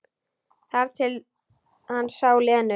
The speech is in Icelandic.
Þar til hann sá Lenu.